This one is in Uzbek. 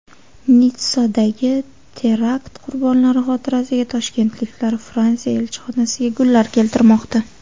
Nitssadagi terakt qurbonlari xotirasiga toshkentliklar Fransiya elchixonasiga gullar keltirmoqda.